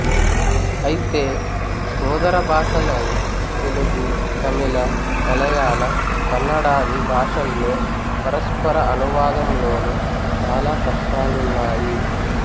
అయితే సోదర భాషలైన తెలుగు తమిళ మలయాళ కన్నడాది భాషల్లో పరస్పర అనువాదంలోనూ చాలా కష్టాలున్నాయి